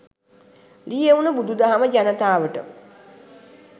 ලියැවුන බුදු දහම ජනතාවට